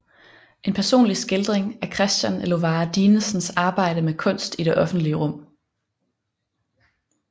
En personlig skildring af Christian Elovara Dinesens arbejde med kunst i det offentlige rum